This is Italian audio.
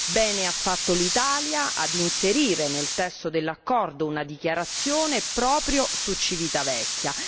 Bene ha fatto l'Italia a inserire nel testo dell'accordo una dichiarazione proprio su Civitavecchia.